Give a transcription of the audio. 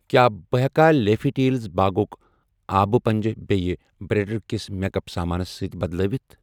کیٛاہ بہٕ ہیٚکا لیٖفی ٹیلز باغُک آبہٕ پنٛبچھ بییٚہِ بریٚنڑ کِس میکَپ سامانس سۭتۍ بدلٲوَتھ؟